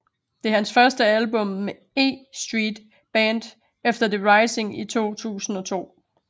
Det er hans første album med E Street Band efter The Rising i 2002